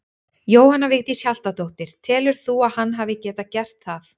Jóhanna Vigdís Hjaltadóttir: Telur þú að hann hefði getað gert það?